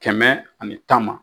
Kɛmɛ ani tan ma